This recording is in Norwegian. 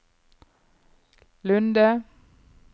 Lunde